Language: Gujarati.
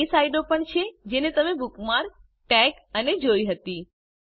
આ એ સાઇટો પણ છે જે તમે બુકમાર્ક ટેગ અને જોઈ હતી